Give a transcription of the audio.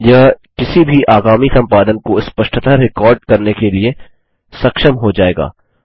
यह किसी भी आगामी संपादन को स्पष्टतः रिकार्ड करने के लिए सक्षम हो जाएगा